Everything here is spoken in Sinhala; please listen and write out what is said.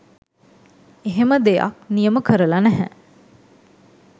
එහෙම දෙයක්‌ නියම කරලා නැහැ